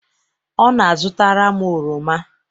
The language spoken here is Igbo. ọ na-azụtara m oroma